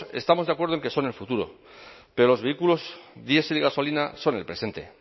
estamos de acuerdo en que son el futuro pero los vehículos diesel y gasolina son el presente